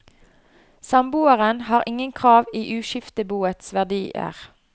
Samboeren har ingen krav i uskifteboets verdier.